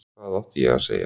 Hvað átti ég að segja?